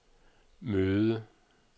møde